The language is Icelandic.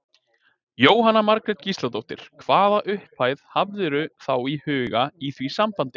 Jóhanna Margrét Gísladóttir: Hvaða upphæð hafðirðu þá í huga í því sambandi?